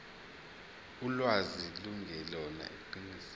ulwazi lungelona iqiniso